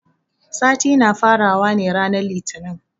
Sati na fara wa ne ranan litinin.